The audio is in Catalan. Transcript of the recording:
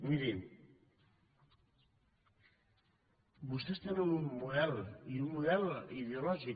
mirin vostès tenen un model i un model ideològic